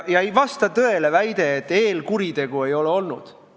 Ei vasta tõele väide, et eelkuritegu ei ole olnud.